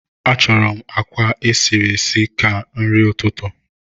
Achọrọ m àkwá esiri esi ka nri ụtụtụ